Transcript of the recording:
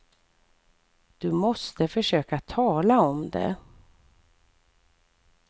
Du måste försöka tala om det.